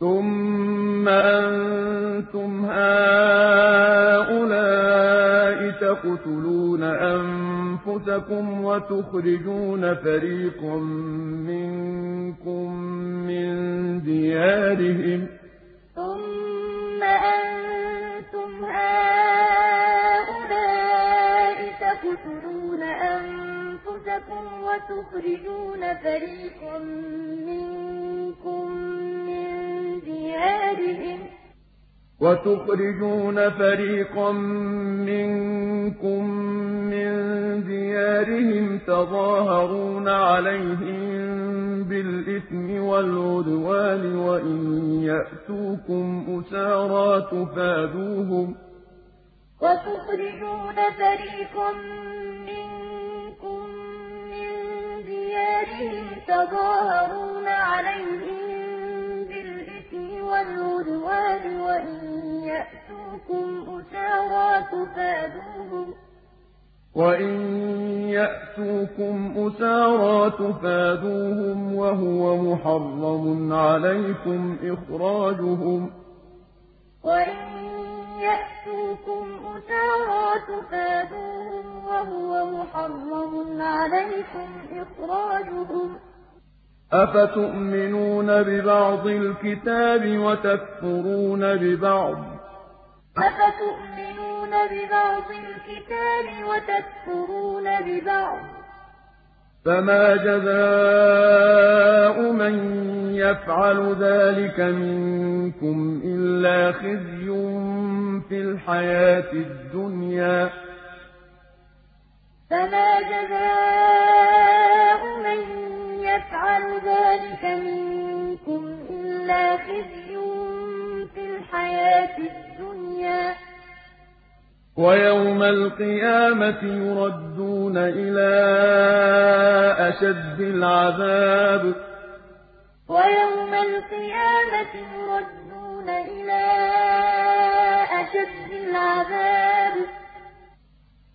ثُمَّ أَنتُمْ هَٰؤُلَاءِ تَقْتُلُونَ أَنفُسَكُمْ وَتُخْرِجُونَ فَرِيقًا مِّنكُم مِّن دِيَارِهِمْ تَظَاهَرُونَ عَلَيْهِم بِالْإِثْمِ وَالْعُدْوَانِ وَإِن يَأْتُوكُمْ أُسَارَىٰ تُفَادُوهُمْ وَهُوَ مُحَرَّمٌ عَلَيْكُمْ إِخْرَاجُهُمْ ۚ أَفَتُؤْمِنُونَ بِبَعْضِ الْكِتَابِ وَتَكْفُرُونَ بِبَعْضٍ ۚ فَمَا جَزَاءُ مَن يَفْعَلُ ذَٰلِكَ مِنكُمْ إِلَّا خِزْيٌ فِي الْحَيَاةِ الدُّنْيَا ۖ وَيَوْمَ الْقِيَامَةِ يُرَدُّونَ إِلَىٰ أَشَدِّ الْعَذَابِ ۗ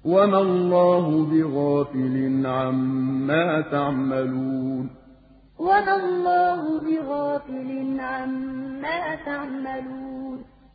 وَمَا اللَّهُ بِغَافِلٍ عَمَّا تَعْمَلُونَ ثُمَّ أَنتُمْ هَٰؤُلَاءِ تَقْتُلُونَ أَنفُسَكُمْ وَتُخْرِجُونَ فَرِيقًا مِّنكُم مِّن دِيَارِهِمْ تَظَاهَرُونَ عَلَيْهِم بِالْإِثْمِ وَالْعُدْوَانِ وَإِن يَأْتُوكُمْ أُسَارَىٰ تُفَادُوهُمْ وَهُوَ مُحَرَّمٌ عَلَيْكُمْ إِخْرَاجُهُمْ ۚ أَفَتُؤْمِنُونَ بِبَعْضِ الْكِتَابِ وَتَكْفُرُونَ بِبَعْضٍ ۚ فَمَا جَزَاءُ مَن يَفْعَلُ ذَٰلِكَ مِنكُمْ إِلَّا خِزْيٌ فِي الْحَيَاةِ الدُّنْيَا ۖ وَيَوْمَ الْقِيَامَةِ يُرَدُّونَ إِلَىٰ أَشَدِّ الْعَذَابِ ۗ وَمَا اللَّهُ بِغَافِلٍ عَمَّا تَعْمَلُونَ